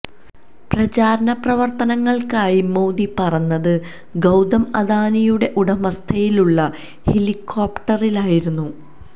പ്രചാരണ പ്രവർത്തനങ്ങൾക്കായി മോദി പറന്നത് ഗൌതം അദാനിയുടെ ഉടമസ്ഥതയിലുള്ള ഹെലികോപ്റ്ററിലായിരുന്നു